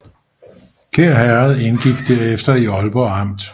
Kær Herred indgik derefter i Ålborg Amt